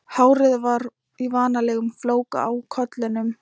Hárið var í vanalegum flóka á kollinum.